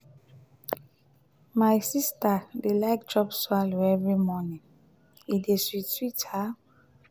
my sista dey like chop swallow every morning e dey sweet sweet her.